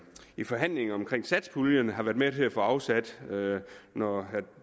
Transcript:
i forhandlingerne om satspuljen har været med til at få afsat noget herre